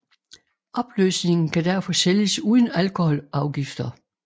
Opløsningen kan derfor sælges uden alkoholafgifter